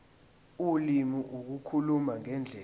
ulimi ukukhuluma ngendlela